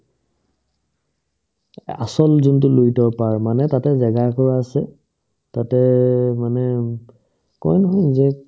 এ আচল যোনটো লুইতৰ পাৰ মানে তাতে জেগা এটুকুৰা আছে তাতে মানে কই নহয় যে